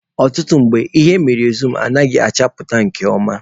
Ọtụtụ mgbe, ihe emere zum anaghị achapụta nke ọma.